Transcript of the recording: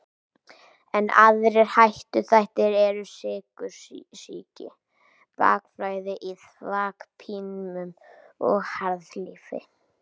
Enn aðrir áhættuþættir eru sykursýki, bakflæði í þvagpípum og harðlífi.